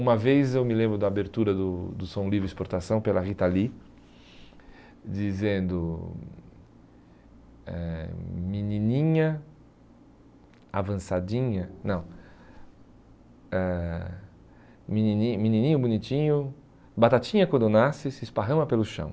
Uma vez eu me lembro da abertura do do Som Livre Exportação pela Rita Lee, dizendo, eh menininha avançadinha, não, eh menininho menininho bonitinho, batatinha quando nasce, se esparrama pelo chão.